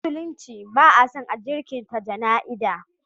A musulunci ba a son a jinkirta jana'iza.